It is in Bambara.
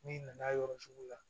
N'i nana yɔrɔ sugu la